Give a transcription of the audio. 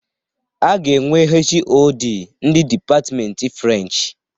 A ga-enwe HoD ndị dipatmenti French.